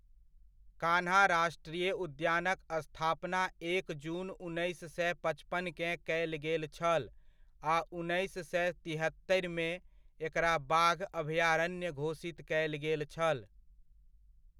कान्हा राष्ट्रीय उद्यानक स्थापना एक जून, उन्नैस सए पचपनकेँ कयल गेल छल आ उन्नैस सए तिहत्तरिमे, एकरा बाघ अभयारण्य घोषित कयल गेल छल।